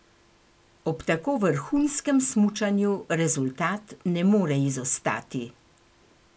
Ob tako vrhunskem smučanju rezultat ne more izostati.